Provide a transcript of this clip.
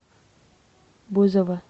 бузова